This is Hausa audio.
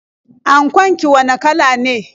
Ankon ki wane kala ne?